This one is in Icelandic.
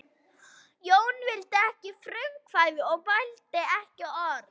Jón vildi ekki eiga frumkvæði og mælti ekki orð.